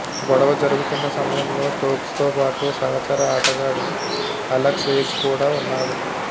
గొడవ జరుగుతున్న సమయంలో స్టోక్స్తోపాటు సహచర ఆటగాడు అలెక్స్ హేల్స్ కూడా ఉన్నాడు